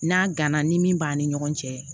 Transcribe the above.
N'a gana ni min b'a ni ɲɔgɔn cɛ